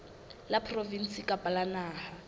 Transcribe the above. la provinse kapa la naha